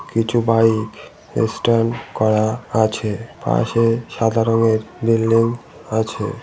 কিছু বাইক ই স্ট্যান্ড করা আছে। পাশে সাদা রঙের বিল্ডিং আছে।